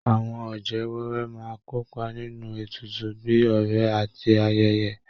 Àwọn ọ̀jẹ̀ wẹ́wẹ́ máa kópa nínú ètùtù bíi ọrẹ àti ayẹyẹ